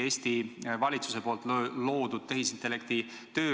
Nüüd küll tuleb valitsust tunnustada, sest ta on eraldanud 770 000 eurot ürituse korraldamiseks.